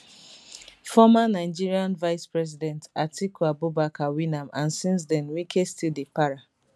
former nigeria vicepresident atiku abubakar win am and since den wike still dey para